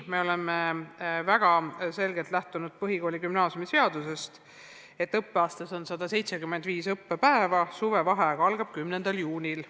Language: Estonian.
Me oleme väga selgelt lähtunud põhikooli- ja gümnaasiumiseadusest, et õppeaastas on 175 õppepäeva ja suvevaheaeg algab 10. juunil.